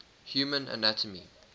human anatomy